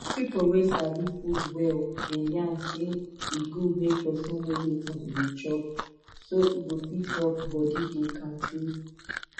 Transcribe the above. people wey sabi food well dey yarn say e good make person know wetin e dey chop so e go fit help body dey kampe